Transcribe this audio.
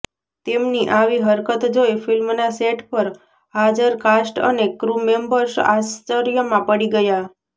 તેમની આવી હરકત જોઈ ફિલ્મના સેટ પર હાજર કાસ્ટ અને ક્રૂ મેમ્બર્સ આશ્ચર્યમાં પડી ગયાં